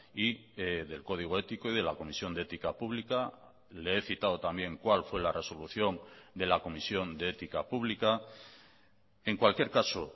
y del código ético y de la comisión de ética pública le he citado también cuál fue la resolución de la comisión de ética pública en cualquier caso